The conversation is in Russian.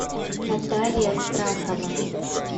наталья страхова